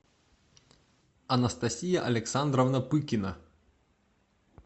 анастасия александровна пыкина